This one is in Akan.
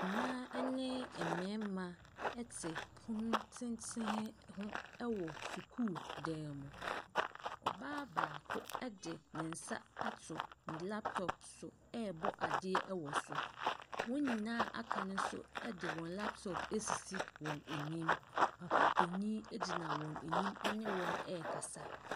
Mmaa ne mmarima te pono tenten ho wɔ sukuudan mu. Ɔbaa baakode ne nsa ato ne laptop so rebɔ adeɛ wɔ so. Wɔn nyinaa a wɔaka no nso de wan laptop asisi wɔn anim. Papa panin gyina wɔn anim ne wɔn rekasa.